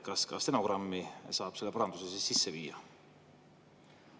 Kas ka stenogrammi saab selle paranduse sisse viia?